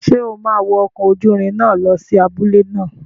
Ṣé o máa wọ ọkọ̀ ojúrin náà lọ sí abúlé náà?